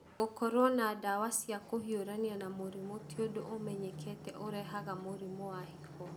Gũkorũo na ndawa cia kũhiũrania na mĩrimũ ti ũndũ ũmenyekete ũrehaga mũrimũ wa higo.